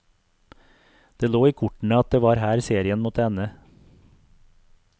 Det lå i kortene at det var her serien måtte ende.